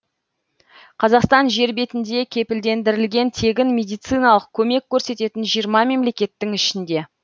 қазақстан жер бетінде кепілдендірілген тегін медициналық көмек көрсететін жиырма мемлекеттің ішінде